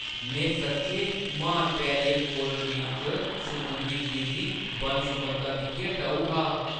में सच्चैं म्हान बैरियर कोरल रीफ च समुंदरी जीवन दी बन्न-सबन्नता दिक्खियै टऊ हा।